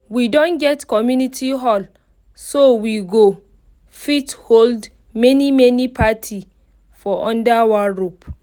we don get community hall so we go fit hold many many party for under one roof